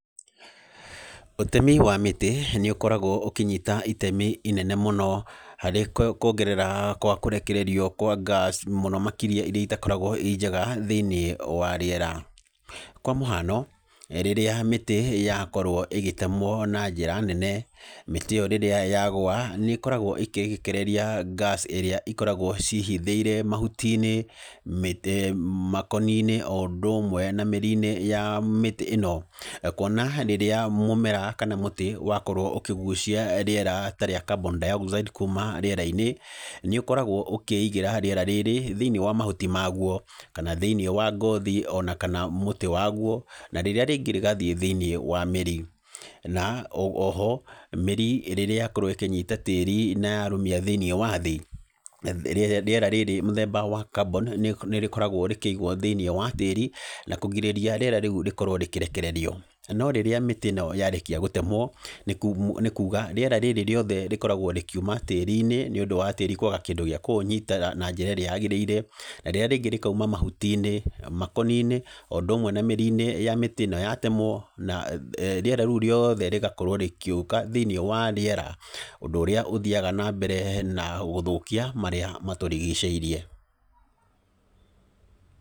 Ũtemi wa mĩtĩ, nĩ ũkoragwo ũkĩnyita itemi inene mũno, harĩ kuongerera kwa kũrekererio kwa gas mũno makĩria irĩa itakoragwo ii njega thĩiniĩ wa rĩera. Kwa mũhano, rĩrĩa mĩtĩ yakorwo ĩgĩtemwo na njĩra nene, mĩtĩ ĩyo rĩrĩa yagũa nĩ ĩkoragwo ĩkĩrekereria gas ĩrĩa ikoragwo ciĩhithĩire mahuti-inĩ, makoni-inĩ, o ũndũ ũmwe na mĩri-inĩ ya mĩtĩ ĩno. Kuona rĩrĩa mũmera kana mũtĩ wakorwo ũkĩgucia rĩera ta rĩa carbon dioxide kuuma rĩera-inĩ, nĩ ũkoragwo ũkĩigĩra rĩera rĩrĩ, thĩiniĩ wa mahuti ma guo, kana thĩiniĩ wa ngothi ona kana mũtĩ wa guo. Na rĩrĩa rĩngĩ rĩgathiĩ thĩiniĩ wa mĩri. Na, oho, mĩri rĩrĩa yakorwo ĩkĩnyita tĩri na yarũmia thĩiniĩ wa thĩ, rĩera rĩrĩ mũthemba wa carbon nĩ nĩ rĩkoragwo rĩkĩigwo thĩiniĩ wa tĩri, na kũgirĩria rĩera rĩu rĩkorwo rĩkĩrekererio. No rĩrĩa mĩtĩ ĩno yarĩkia gũtemwo, nĩ kuuga, rĩera rĩrĩ rĩothe rĩkoragwo rĩkiuma tĩri-inĩ nĩ ũndũ wa tĩri kwaga kĩndũ gĩa kũũnyitĩrĩra na njĩra ĩrĩa yagĩrĩire, na rĩrĩa rĩngĩ rĩkauma mahuti-inĩ, makoni-inĩ, o ũndũ ũmwe na mĩri-inĩ ya mĩtĩ ĩno yatemwo. Na rĩera rĩu rĩothe rĩgakorwo rĩgĩũka thĩiniĩ wa rĩera, ũndũ ũrĩa ũthiaga na mbere na gũthũkia marĩa matũrigicĩirie.